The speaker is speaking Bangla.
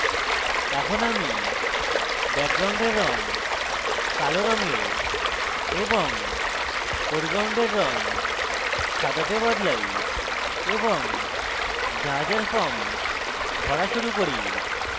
এখন আমি ব্যাকগ্রাউন্ডের রং কালো রঙে এবং ফোরগ্রাউন্ডের রং সাদাতে বদলাই এবং জাহাজের form ভরা শুরু করি